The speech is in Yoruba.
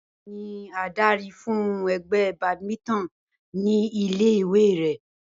Báyò̩ ni adarí fún e̩gbé̩ badminton ní ilé ìwé rè̩